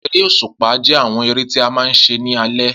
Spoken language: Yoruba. Eré òṣùpá jẹ́ àwọn eré tí a máa ń ṣe ní alé